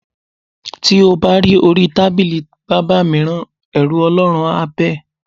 Ti o bá ri orí tábìlì bábà mìíràn, è̩rù O̩ló̩run á bà é̩.